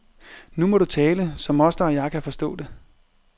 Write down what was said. Nu må du tale, så moster og jeg kan forstå det.